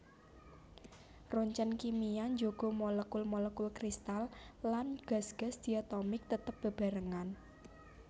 Roncèn kimia njaga molekul molekul kristal lan gas gas diatomik tetep bebarengan